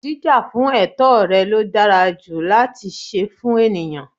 Jíjà fún ètó rẹ̀ ló dára ju láti se fún ènìyãn